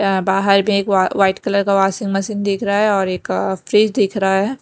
बाहर में एक वाइट कलर का वाशिंग मशीन दिख रहा हैऔर एक फ्रिज दिख रहा है।